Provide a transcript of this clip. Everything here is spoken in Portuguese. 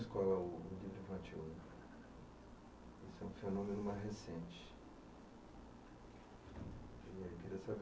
Mas qual é o livro infantil? Esse é um fenômeno mais recente.